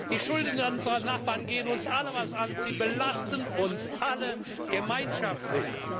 Die Schulden unserer Nachbarn gehen uns alle etwas an, sie belasten uns alle gemeinschaftlich!